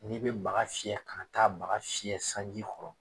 N'i bi baga fiyɛ ka na taa bagan fiyɛ sanji kɔrɔ